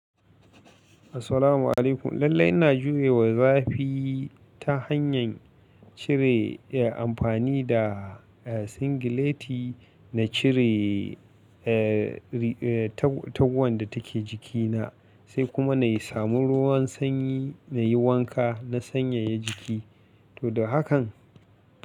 Assalamu alaikum. Lallai ina jurewa zafi ta hanyar cire amfani da singileti, na cire taguwan da take jikina, sai kuma na yi samu ruwan sanyi na yi wanka, na sanyaya jiki. To da hakan.